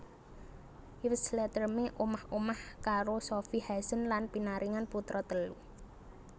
Yves Leterme omah omah karo Sofie Haesen lan pinaringan putra telu